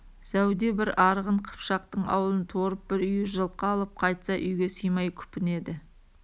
зәуде бір арғын-қыпшақтың ауылын торып бір үйір жылқы алып қайтса үйге сыймай күпінеді